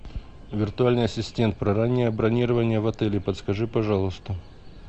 виртуальный ассистент про раннее бронирование в отеле подскажи пожалуйста